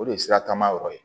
O de ye siratanma yɔrɔ ye